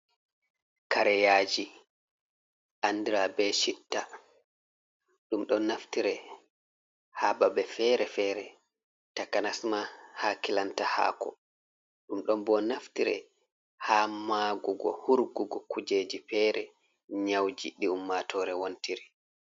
Kareyaji, andra be chitta ɗum don naftire ha babe fere-fere takanasma ha kilanta haako ɗum don bo naftire ha magug, hurgugo kujeji fere, nya'uji ɗi ummatore wontiri.